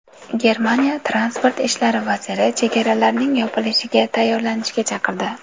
Germaniya Transport ishlari vaziri chegaralarning yopilishiga tayyorlanishga chaqirdi.